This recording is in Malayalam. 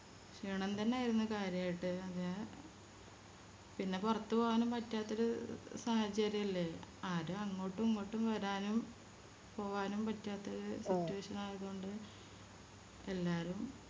ക്ഷീണം തന്നെയായിരുന്നു കാര്യായിട്ട് അതെ പിന്നെ പൊറത്ത് പോവാനും പറ്റാത്തൊരു സാഹചര്യല്ലേ ആരും അങ്ങോട്ടും ഇങ്ങോട്ടും വരാനും പോവാനും പറ്റാത്തൊരു Situation ആയത് കൊണ്ട് എല്ലാരും